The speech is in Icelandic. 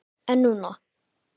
En núna.